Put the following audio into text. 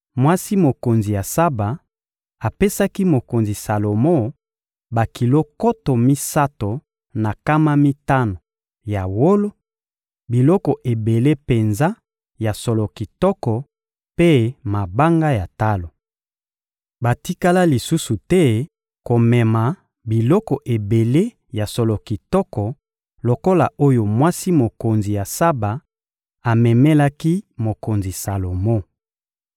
Mwasi mokonzi ya Saba apesaki mokonzi Salomo bakilo nkoto misato na nkama mitano ya wolo, biloko ebele penza ya solo kitoko mpe mabanga ya talo. Batikala lisusu te komema biloko ebele ya solo kitoko lokola oyo mwasi mokonzi ya Saba amemelaki mokonzi Salomo.